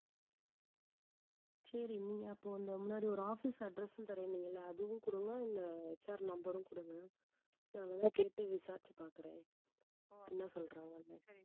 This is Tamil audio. சரி நீங்க அப்போ அந்த முன்னாடி ஒரு office address உம் தர்றேன்னீங்க இல்லை அதுவும் கொடுங்க HR number உம் கொடுங்க நான் வேணா கேட்டு விசாரிச்சு பார்க்கிறேன் என்னா சொல்றாங்கன்னு